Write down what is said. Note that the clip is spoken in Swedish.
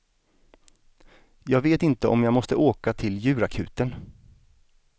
Jag vet inte om jag måste åka till djurakuten.